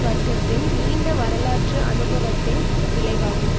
வர்க்கத்தின் நீண்ட வரலாற்று அனுபவத்தின் விளைவாகும்